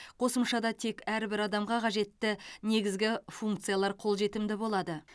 қосымшада тек әрбір адамға қажетті негізгі функциялар қолжетімді болады